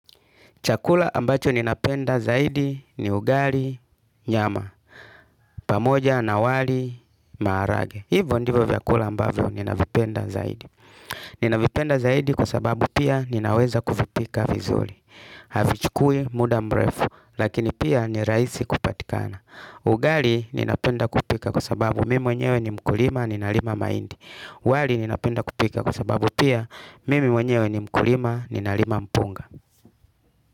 Chakula ambacho ninapenda zaidi ni ugali, nyama, pamoja na wali, maharagwe. Hivyo ndivyo vyakula ambavyo ninavipenda zaidi. Ninavipenda zaidi kwa sababu pia ninaweza kuvipika vizuri. Havichukui muda mrefu, lakini pia ni rahisi kupatikana. Ugali ninapenda kupika kwa sababu mimi mwenyewe ni mkulima, ninalima mahindi. Wali ninapenda kupika kusababu pia mimo nyewe ni mkulima, ninalima mpunga.